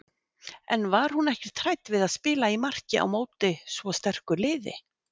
En var hún ekkert hrædd við að spila í marki á móti svo sterku liði?